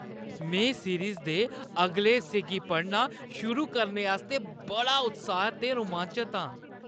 में सीरीज़ दे अगले हिस्से गी पढ़ना शुरू करने आस्तै बड़ा उत्साहत ते रोमांचत आं!